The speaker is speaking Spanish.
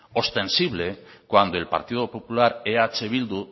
ostensible cuando el partido popular eh bildu